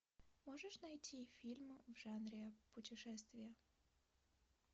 можешь найти фильм в жанре путешествия